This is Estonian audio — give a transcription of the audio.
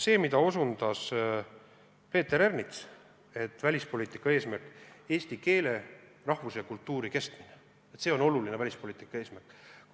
See, mida ütles Peeter Ernits eesti keele, rahvuse ja kultuuri kestmise kui välispoliitika olulise eesmärgi kohta.